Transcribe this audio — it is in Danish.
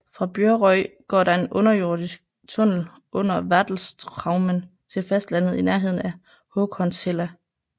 Fra Bjorøy går der en undersøisk tunnel under Vatlestraumen til fastlandet i nærheden af Håkonshella